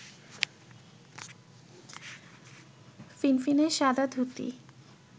ফিনফিনে সাদা ধুতি